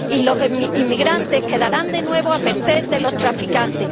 Y los inmigrantes quedarán de nuevo a merced de los traficantes.